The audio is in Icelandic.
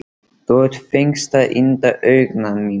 Þú ert fegursta yndi augna minna.